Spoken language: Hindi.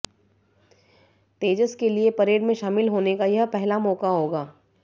तेजस के लिए परेड में शामिल होने का यह पहला मौका होगा